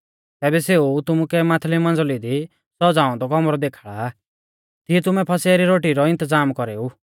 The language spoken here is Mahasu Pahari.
तैबै सेऊ तुमुकै माथली मंज़ली दी सज़ाऔ औन्दौ कौमरौ देखाल़ा तिऐ तुमै फसह री रोटी रौ इन्तज़ाम कौरेऊ